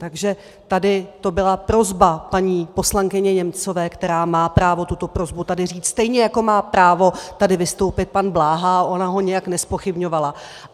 Takže tady to byla prosba paní poslankyně Němcové, která má právo tuto prosbu tady říct stejně, jako má právo tady vystoupit pan Bláha, a ona ho nijak nezpochybňovala.